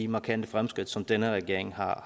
markante fremskridt som denne regering har